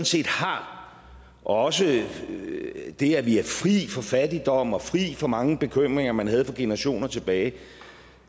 set har og også det at vi er fri for fattigdom og fri for mange bekymringer man havde for generationer tilbage